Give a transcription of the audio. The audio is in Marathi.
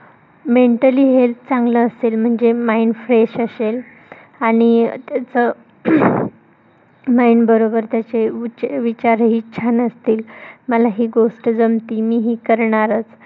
mentally health चांगलं असेल म्हणजे mind fresh असेल आणि त्याच अह mind बरोबर त्याचे वच विचार ही छान असतील. मला ही गोष्ट जमती मी ही करणारच